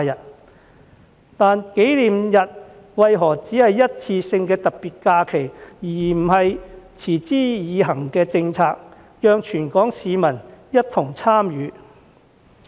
可是，紀念日為何只是一次性的特別假期，而不是持之以恆的政策，讓全港市民一同參與？